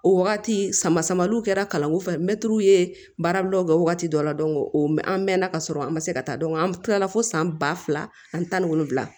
O wagati sama samaliw kɛra kalanko fɛ mɛtiriw ye baarabilaw kɛ wagati dɔ la an mɛɛnna ka sɔrɔ an ma se ka taa an kilala fo san ba fila ani tan ni wolonwula